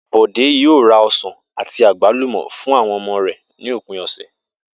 Bò̩dé yóò ra o̩sàn àti àgbálùmò̩ fún àwo̩n o̩mo̩ rè̩ ní òpin ò̩sè̩